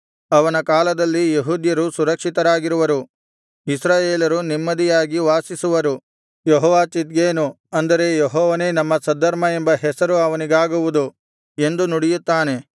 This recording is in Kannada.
ಅವನ ಕಾಲದಲ್ಲಿ ಯೆಹೂದ್ಯರು ಸುರಕ್ಷಿತರಾಗಿರುವರು ಇಸ್ರಾಯೇಲರು ನೆಮ್ಮದಿಯಾಗಿ ವಾಸಿಸುವರು ಯೆಹೋವ ಚಿದ್ಕೇನು ಅಂದರೆ ಯೆಹೋವನೇ ನಮ್ಮ ಸದ್ಧರ್ಮ ಎಂಬ ಹೆಸರು ಅವನಿಗಾಗುವುದು ಎಂದು ನುಡಿಯುತ್ತಾನೆ